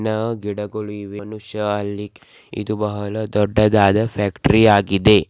ಸಣ್ಣ ಗಿಡಗಳು ಇವೆ ಒಬ್ಬ ಮನುಷ್ಯ ಅಲ್ಲಿ ಇದು ಬಹಳ ದೊಡ್ದುದಾದ ಫ್ಯಾಕ್ಟರಿ ಆಗಿದೆ.